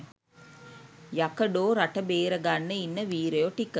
යකඩෝ රට බේර ගන්න ඉන්න වීරයෝ ටික